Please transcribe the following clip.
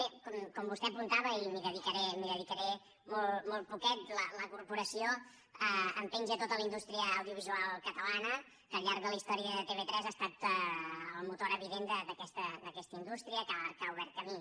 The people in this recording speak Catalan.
bé com vostè apuntava i m’hi dedicaré molt poquet de la corporació en penja tota la indústria audiovisual catalana que al llarg de la història de tv3 ha estat el motor evident d’aquesta indústria que ha obert camí